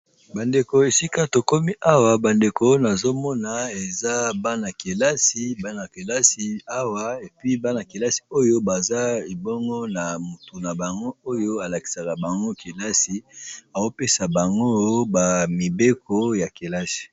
Bandeko esika tokomi awa nazomona bana kelasi baza na mutu nabango oyo alakisaka bango azo pesa bango mibeko ya kelasi.